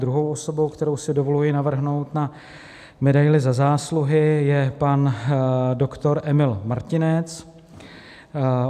Druhou osobou, kterou si dovoluji navrhnout na medaili Za zásluhy, je pan doktor Emil Martinec.